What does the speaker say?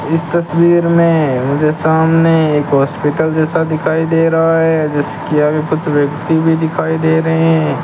इस तस्वीर में मुझे सामने एक हॉस्पिटल जैसा दिखाई दे रहा है जिसके आगे कुछ व्यक्ति भी दिखाई दे रहे --